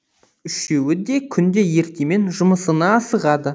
үшеуі де күнде ертемен жұмысына асығады